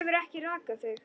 Þú hefur ekki rakað þig.